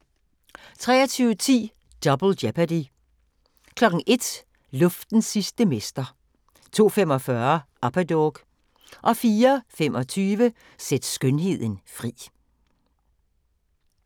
23:10: Double Jeopardy 01:00: Luftens sidste mester 02:45: Upperdog 04:25: Sæt skønheden fri